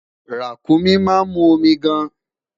Ràkúnmí ma mu omi gaan